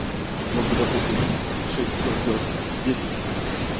мог бы допустим за шесть часов сделать десять